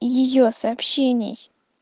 её сообщений